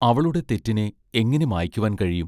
അവളുടെ തെറ്റിനെ എങ്ങനെ മായ്ക്കുവാൻ കഴിയും?